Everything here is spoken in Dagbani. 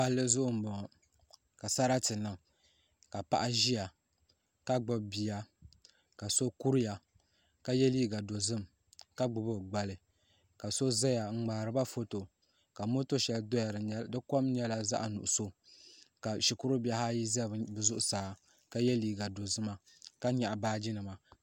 Palli zuɣu n boŋo ka sarati niŋ ka paɣa ʒiya ka gbubi bia ka so kuriya ka yɛ liiga dozim ka gbubi o gbali ka so ʒɛya n ŋmaariba foto ka moto shɛli ʒɛya di kom nyɛla zaɣ nuɣso ka shikuru bihi ayi ʒɛ bi zuɣusaa ka yɛ liiga dozima ka nyaɣa baaji nima